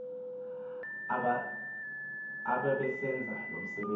ababesenza lo msebenzi